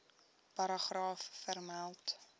paragraaf vermeld